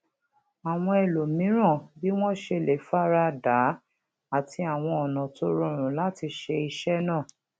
àwọn ẹlòmíràn bí wón ṣe lè fara dà á àti àwọn ònà tó rọrun lati ṣe iṣẹ naa